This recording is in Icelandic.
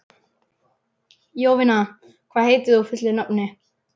Jovina, hvað heitir þú fullu nafni?